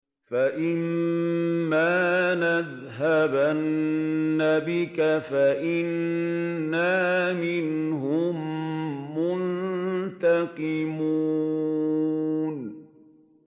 فَإِمَّا نَذْهَبَنَّ بِكَ فَإِنَّا مِنْهُم مُّنتَقِمُونَ